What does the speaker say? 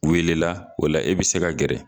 O wele la, o la, i bi se ka gɛrɛ